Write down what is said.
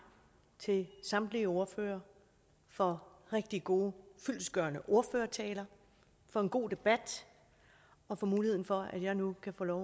til samtlige ordførere for rigtig gode og fyldestgørende ordførertaler for en god debat og for muligheden for at jeg nu kan få lov